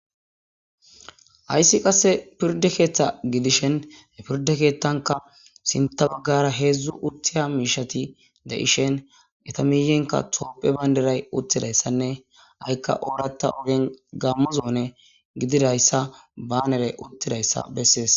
Hassi qasse pirdde keththa giidishin ha pirrde keththanika sintta baggara heezhzhu uttiya mishshati deishin eeta miiyenkka tophphiya bandiray uttidayssanne haiika ooratta ogge gamo zone giddidayssa baanery uttidayssa beses.